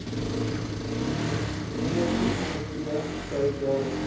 ondersoekkomitee dui daarop